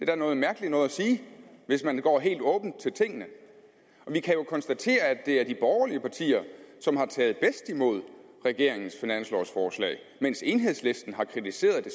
da noget mærkeligt noget at sige hvis man går helt åbent til tingene vi kan jo konstatere at det er de borgerlige partier som har taget bedst imod regeringens finanslovforslag mens enhedslisten har kritiseret det